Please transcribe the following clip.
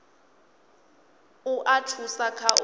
u a thusa kha u